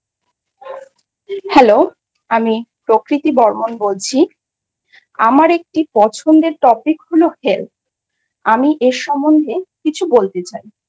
Hello আমি প্রকৃতি বর্মন বলছি আমার একটি পছন্দের Topic হল Health। আমি এই সম্বন্ধে কিছু বলতে চাই।